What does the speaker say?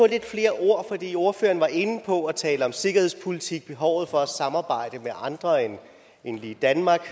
lidt flere ord på det for ordføreren var inde på at tale om sikkerhedspolitik behovet for at samarbejde med andre end lige danmark